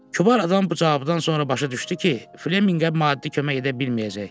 Kübar adam bu cavabdan sonra başa düşdü ki, Fleminqə maddi kömək edə bilməyəcək.